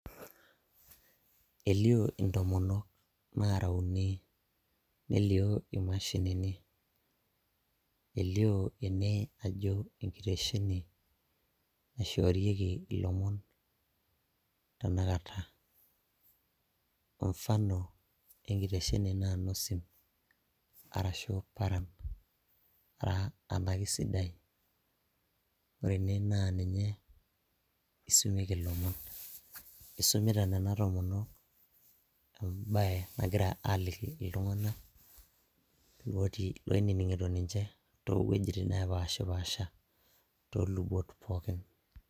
elio intomonok nara uni nelio imashinini elio ene ajo enkitesheni naishorieki ilomon tenakata mfano enkitesheni ena a nosim arashu paran anake sidai ore ene naa ninye isumieki ilomon isumita nena tomonok embaye nagira aliki iltung'anak otii oinining'ito ninche towuejitin nepashi pasha tolubot pookin.